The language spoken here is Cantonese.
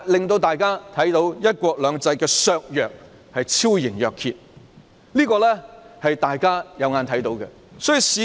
大家看到"一國兩制"的削弱已是昭然若揭，這情況大家有目共睹。